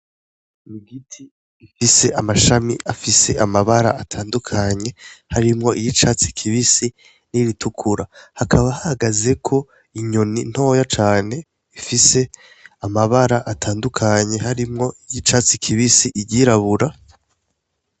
M igiti ifise amashami afise amabara atandukanye harimwo iyo icatsi kibisi n'iritukura hakaba hagaze ko inyoni ntoya cane ifise amabara atandukanye harimwo iy' icatsi kibisi iryirabura.